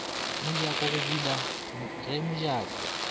mojako go bula ge mojako